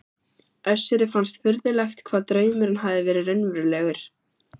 Össuri fannst furðulegt hvað draumurinn hafði verið raunverulegur.